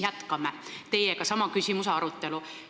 Jätkame sama küsimuse arutelu teiega.